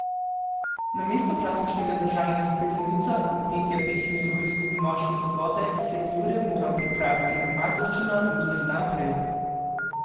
Namesto klasičnega držanja za steklenico in petja pesmi o izgubi moške svobode se je Jure moral pripravit na fantovščino in to že dan prej.